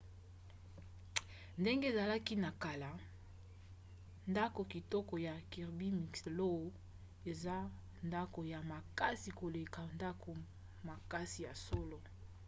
ndenge ezalaki na kala ndako kitoko ya kirby muxloe eza ndako ya makasi koleka ndako makasi ya solo